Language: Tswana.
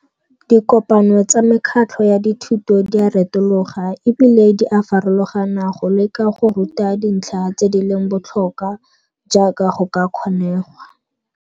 Dikopano tsa mekgatlho ya dithuto di a retologa e bile di a farologana go leka go ruta dintlha tse di leng botlhokwa jaaka go ka kgonegwa.